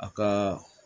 A ka